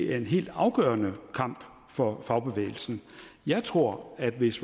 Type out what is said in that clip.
er en helt afgørende kamp for fagbevægelsen jeg tror at hvis